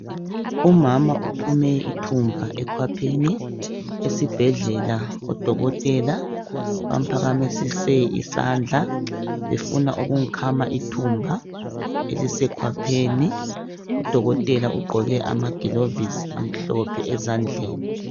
Umama uphume ithumba ekhwapheni. Esibhedlela odokotela bamphakamisise isandla befuna ukumkhama ithumba elisekhwapheni. Udokotela ugqoke amagilovisi amhlophe ezandleni.